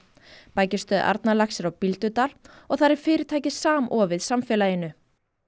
bækistöð Arnarlax er á Bíldudal og þar er fyrirtækið samofið samfélaginu